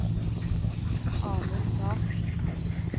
Amund Larssen